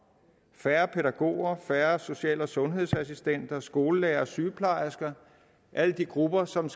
færre pædagoger færre social og sundhedsassistenter skolelærere sygeplejersker alle de grupper som